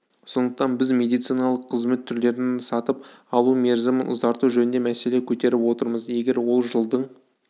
сондықтан біз медициналық қызмет түрлерін сатып алу мерзімін ұзарту жөнінде мәселе көтеріп отырмыз егер ол жылдың